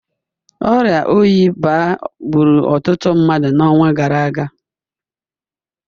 Ọrịa oyi baa gburu ọtụtụ mmadụ n’ọnwa gara aga